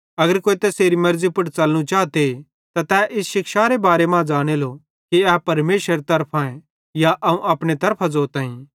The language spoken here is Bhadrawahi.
अगर कोई तैसेरी मेर्ज़ी पुड़ च़लनू चाए त तै इस शिक्षारे बार मां ज़ानेलो कि ए परमेशरेरे तरफांए या अवं अपने तरफां ज़ोताईं